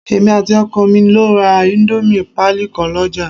Èmi àti ọkọ mi lọ ra íńdómì pálí kan lọ́ jà